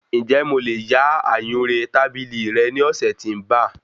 Ǹjẹ́ mo lè yá ayùnré tábìlì rẹ ní ọ̀sẹ̀ tí ń ba?